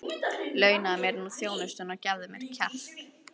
Launaðu mér nú þjónustuna og gefðu mér kjark!